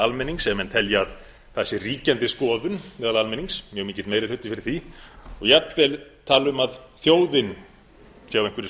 almennings ef menn telja að það sé ríkjandi skoðun meðal almennings mjög mikill meiri hluti fyrir því og jafnvel tala um að þjóðin sé á einhverri